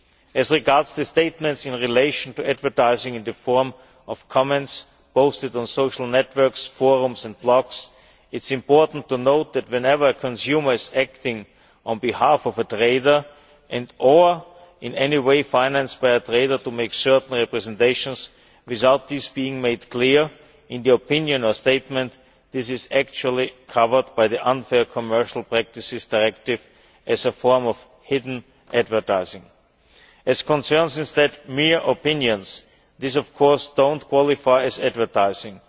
As regards the statements in relation to advertising in the form of comments posted on social networks, forums and blogs, it is important to note that, whenever consumers acting on behalf of a trader and or are in any way financed by a trader to make certain representations without this being made clear in the opinion or statement, this is actually covered by the Unfair Commercial Practices Directive as a form of hidden advertising. As far as mere opinions are concerned, these, of course, do not qualify as advertising.